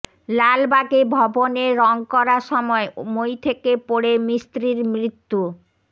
লালবাগে ভবনে রং করার সময় মই থেকে পড়ে মিস্ত্রির মৃত্যু